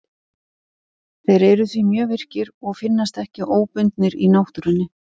Þeir eru því mjög virkir og finnast ekki óbundnir í náttúrunni.